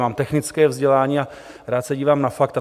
Mám technické vzdělání a rád se dívám na fakta.